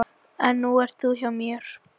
En nú ert þú hjá mér.